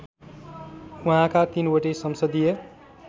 उहाँका तीनवटै संसदीय